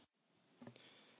Herr Präsident!